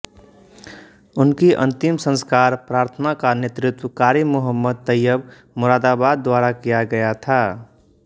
उनकी अंतिम संस्कार प्रार्थना का नेतृत्व कारी मुहम्मद तैयब मुरादाबाद द्वारा किया गया था